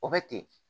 O bɛ ten